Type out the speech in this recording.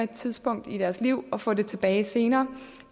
tidspunkt i deres liv og få det tilbage senere